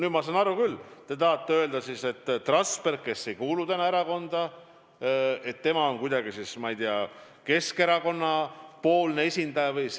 Ma saan aru küll, te tahate öelda, et Trasberg, kes ei kuulu erakonda, on kuidagi, ma ei tea, Keskerakonna esindaja.